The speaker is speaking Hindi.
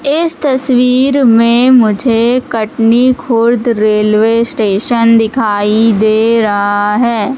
इस तस्वीर में मुझे कटनी खुर्द रेलवे स्टेशन दिखाई दे रहा है।